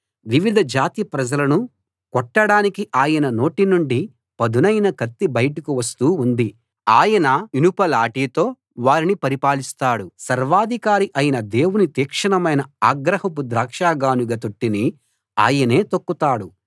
వివిధ జాతి ప్రజలను కొట్టడానికి ఆయన నోటి నుండి పదునైన కత్తి బయటకు వస్తూ ఉంది ఆయన ఇనుప లాఠీతో వారిని పరిపాలిస్తాడు సర్వాధికారి అయిన దేవుని తీక్షణమైన ఆగ్రహపు ద్రాక్ష గానుగ తొట్టిని ఆయనే తొక్కుతాడు